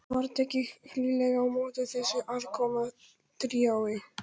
Var tekið hlýlega á móti þessu aðkomna tríói.